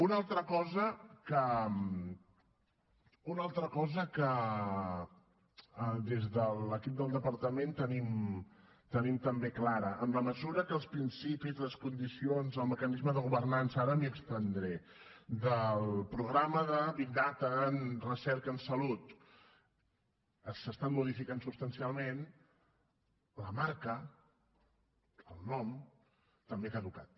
una altra cosa que des de l’equip del departament tenim també clara en la mesura que els principis les condicions el mecanisme de governança ara m’hi estendré del programa de big data en recerca en salut s’estan modificant substancialment la marca el nom també ha caducat